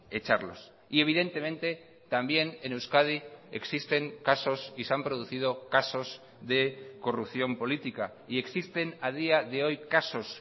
echarlos y evidentemente también en euskadi existen casos y se han producido casos de corrupción política y existen a día de hoy casos